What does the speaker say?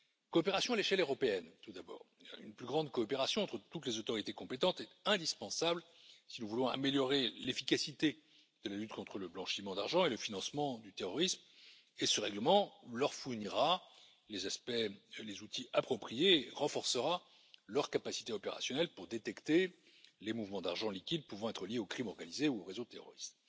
Coopération à l'échelle européenne, tout d'abord. Une plus grande coopération entre toutes les autorités compétentes est indispensable si nous voulons améliorer l'efficacité de la lutte contre le blanchiment d'argent et le financement du terrorisme, et ce règlement leur fournira les aspects et les outils appropriés et renforcera leurs capacités opérationnelles pour détecter les mouvements d'argent liquide pouvant être liés aux crimes organisés ou aux réseaux terroristes.